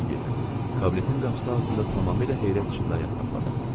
Kabinetin qapısı ağzında tamamilə heyrət içində ayaq saxladım.